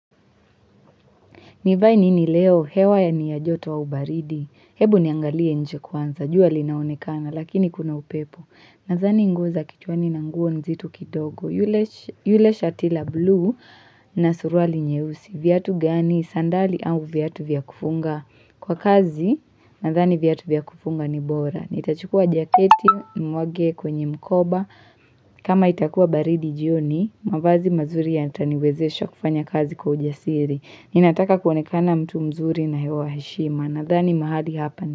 Nivae nini leo? Hewa ya ni ajoto au baridi. Hebu niangalie nje kwanza. Jua linaonekana, lakini kuna upepo. Nadhani nguo za kichwani na nguo nzito kidogo. Yule shati la blue na suruali nyeusi. Viatu gani? Sandali au viatu vya kufunga? Kwa kazi, nadhani viatu vya kufunga ni bora. Nitachukua jaketi, nimwage kwenye mkoba. Kama itakua baridi jioni, mavazi mazuri yataniwezesha kufanya kazi kwa ujasiri. Ninataka kuonekana mtu mzuri na hewa heshima. Nadhani mahali hapa.